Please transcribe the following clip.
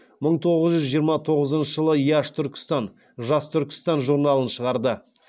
мың тоғыз жүз жиырма тоғызыншы жылы яш түркістан журналын шығарды